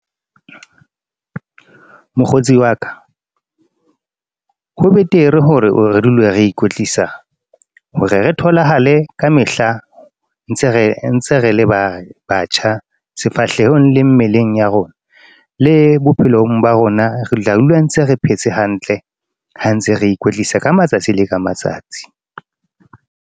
Mokgotsi wa ka, ho betere hore re dule re ikwetlisa hore re tholahale ka mehla ntse re le ba batjha sefahlehong le mmeleng ya rona. Le bophelong ba rona re tla dula ntse re phetse hantle ha ntse re ikwetlisa ka matsatsi le ka matsatsi.